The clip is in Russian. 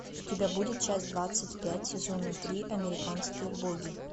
у тебя будет часть двадцать пять сезона три американские боги